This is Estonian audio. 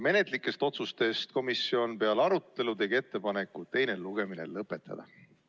Menetluslikest otsustest tegi komisjon peale arutelu ettepaneku teine lugemine lõpetada.